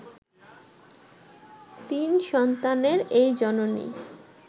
তিন সন্তানের এই জননী